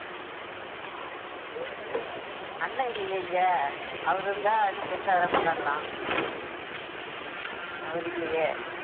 அண்ணன் இல்லையே இங்க அவரு இருந்தா இன்னும் பெருசா வேற கொண்டாடலாம் அவர் இல்லையே